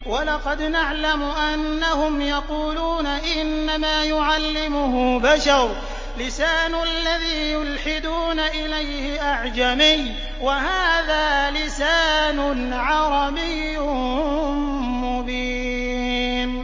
وَلَقَدْ نَعْلَمُ أَنَّهُمْ يَقُولُونَ إِنَّمَا يُعَلِّمُهُ بَشَرٌ ۗ لِّسَانُ الَّذِي يُلْحِدُونَ إِلَيْهِ أَعْجَمِيٌّ وَهَٰذَا لِسَانٌ عَرَبِيٌّ مُّبِينٌ